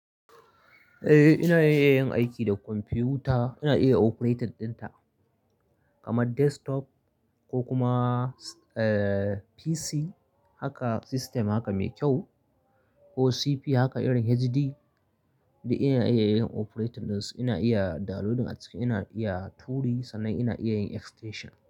Eh ina iya yin aiki da kwamfuta, ina iya operating dinta, kama desktop ko kuma PC haka system haka mai kyau ko CP haka irin HD duk ina iya yin operating din su ina iya downloading a ciki ina iya turi sannan ina iya yin extension.